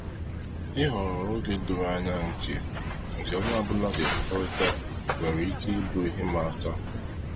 Ịghọrọ oge doro anya nke nke onye ọbụla ka ekwekọrịta nwere ike ị bụ ihe ịma aka.